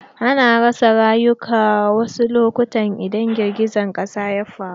Ana rasa rayuka wasu lokutan idan girgijen ƙasa ya faru.